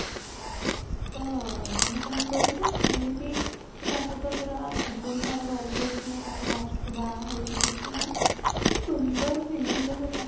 ତ ମାନେ କ'ଣ କହିଲୁ କେମିତି ସେ ତା ସହିତ ପୁରା ଜୀବନ ସାରା ରହୁଛି ତାକୁ last କୁ ବାହା ହଉଛି ଦେଖିବୁ ସୁନ୍ଦର film ଟା ସେଇଟା